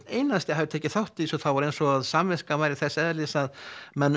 einasti hafi tekið þátt í þessu var samt eins og samviskan væri þess eðlis að menn